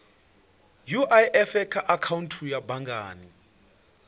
uif kha akhaunthu ya banngani